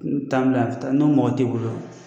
N t'an bila ni mɔgɔ tɛ i bolo